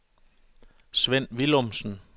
Sven Villumsen